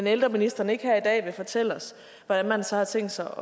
at ældreministeren ikke her i dag vil fortælle os hvordan man så har tænkt sig